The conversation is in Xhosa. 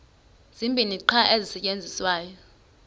zibini qha ezisasetyenziswayo